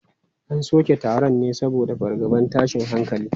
An soke taron ne saboda fargabar tashin hankali.